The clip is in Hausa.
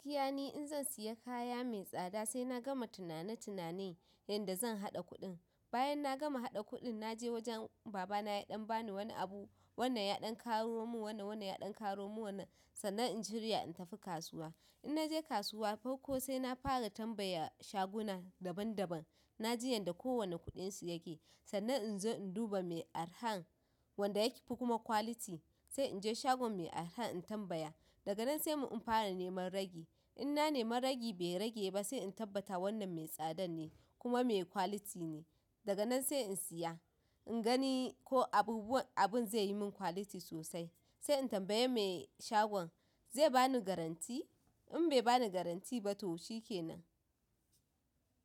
Gaskiya ni in zan siya kaya mai tsada sai na gama tunane-tunane yadda zan haɗa kuɗin. Bayan na gama haɗa kuɗin na je wajen baba na ya ɗan bani wani abu, wannan ya ɗan ƙaramin wannan, wannan ya ɗan ƙaramin wannan sannan in shirya in tafi kasuwa. In naje kasuwa farko sai na fara tambaya shaguna daban daban, na ji yadda kowane kuɗin su yake sannan in zo in duba mai arhan wanda yake fi kuma quality sai inje shagon mai arhan in tambaya. Daga nan sai mun fara neman ragi. Inna nema ragi be rage ba se in tabbata wannan me tsadan ne kuma me quality ne daga nan se in saya in gani ko abubuwan abun ze yimin quality sosai se in tambayi me shagon ze bani guarantee? In bai bani guarantee ba to shi kenan.